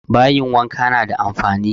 Bayin wanka na da amfani